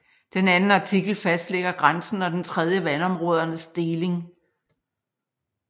Den anden artikel fastlægger grænsen og den tredje vandområdernes deling